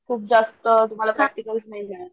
खूप जास्त तुम्हला प्रॅक्टिकल नाही देणार,